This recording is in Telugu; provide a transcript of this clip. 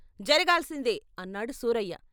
"జరగాల్సిందే" అన్నాడు సూరయ్య.